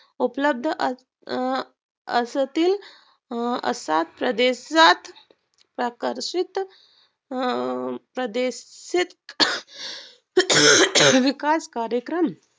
उपलब्ध अं असतील अं असा प्रदेशात प्रकर्षित अं प्रदेशात विकास कार्यक्रम